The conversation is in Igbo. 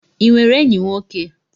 Ị nwere enyi nwoke?